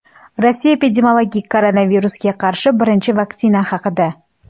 Rossiya epidemiologi koronavirusga qarshi birinchi vaksina haqida.